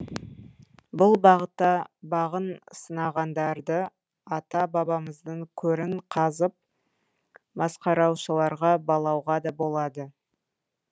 бұл бағытта бағын сынағандарды ата бабамыздың көрін қазып масқараушыларға балауға да болады